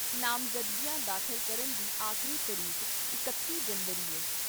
ਨਾਮਜਦਗੀਆਂ ਦਾਖ਼ਲ ਕਰਨ ਦੀ ਆਖਰੀ ਤਰੀਕ ਇਕੱਤੀ ਜਨਵਰੀ ਐ।